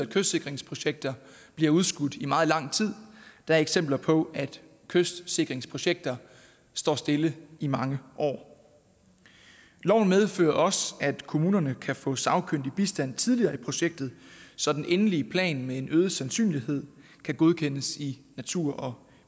kystsikringsprojekter bliver udskudt i meget lang tid der er eksempler på at kystsikringsprojekter står stille i mange år loven medfører også at kommunerne kan få sagkyndig bistand tidligere i projektet så den endelige plan med en øget sandsynlighed kan godkendes i natur